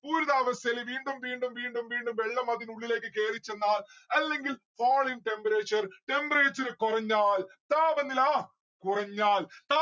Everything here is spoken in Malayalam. പൂരിതാവസ്ഥയില് വീണ്ടും വീണ്ടും വീണ്ടും വീണ്ടും വെള്ളം അതിനുള്ളിലേക്ക് കേറി ചെന്നാൽ അല്ലെങ്കിൽ fall in temperture. temperature കൊറഞ്ഞാൽ. താപനില കുറഞ്ഞാൽ